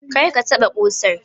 Kar ka taɓa ƙusan!